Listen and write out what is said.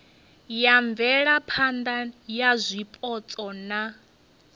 ya mvelaphana ya zwipotso na